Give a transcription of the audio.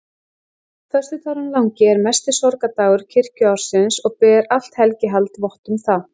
Föstudagurinn langi er mesti sorgardagur kirkjuársins og ber allt helgihald vott um það.